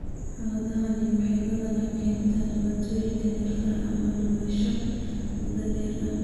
Xaaladdani waxay badanaa keentaa dhibaatooyin neerfaha ama dhimasho muddo dheer ah.